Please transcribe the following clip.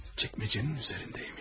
Çəkməcənin üzərindəymiş.